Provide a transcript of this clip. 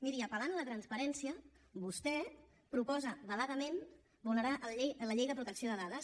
miri apel·lant a la transparència vostè proposa veladament vulnerar la llei de protecció de dades